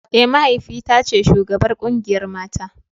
Eh mahaifi ta ce shugabar kungiyar mata.